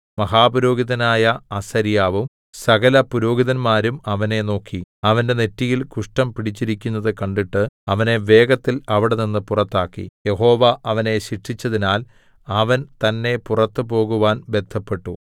മഹാപുരോഹിതനായ അസര്യാവും സകലപുരോഹിതന്മാരും അവനെ നോക്കി അവന്റെ നെറ്റിയിൽ കുഷ്ഠം പിടിച്ചിരിക്കുന്നത് കണ്ടിട്ട് അവനെ വേഗത്തിൽ അവിടെനിന്ന് പുറത്താക്കി യഹോവ അവനെ ശിക്ഷിച്ചതിനാൽ അവൻ തന്നേ പുറത്തു പോകുവാൻ ബദ്ധപ്പെട്ടു